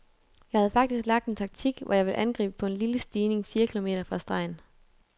Jeg havde faktisk lagt en taktik, hvor jeg ville angribe på en lille stigning fire kilometer fra stregen.